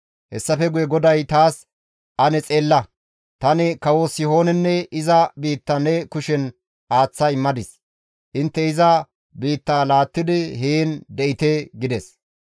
Hessafe guye GODAY taas, «Ane xeella, tani kawo Sihoonenne iza biitta ne kushen aaththa immadis; intte iza biitta laattidi heen de7ite» gides.